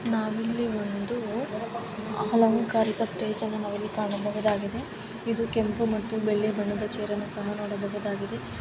ನಾವು ಇಲ್ಲಿ ಒಂದು ಅಲಂಕಾರಿಕ ಸ್ಟೇಜ್ ಅನ್ನ ನಾವು ಇಲ್ಲಿ ಕಾಣಬಹುದಾಗಿದೆ ಇದು ಕೆಂಪು ಮತ್ತು ಬೆಳ್ಳಿ ಬಣ್ಣದ ಛೈರ್ ಅನ್ನ ನೋಡಬಹುದಾಗಿದೆ.